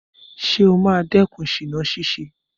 Ṣé ó máa dẹ́kun ṣìná ṣíṣe?